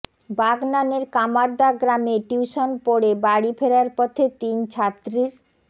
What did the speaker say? বাগনানের কামারদা গ্রামে টিউশন পড়ে বাড়ি ফেরার পথে তিন ছাত্রীর